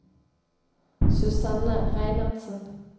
Susanne Reinertsen